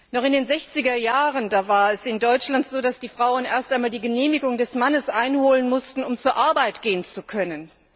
Noch in den 60er Jahren war es in Deutschland so, dass die Frauen erst einmal die Genehmigung des Mannes einholen mussten, um zur Arbeit gehen zu können.